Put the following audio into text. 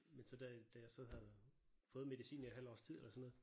Men så da da jeg så havde fået medicinen i et halvt års tid eller sådan noget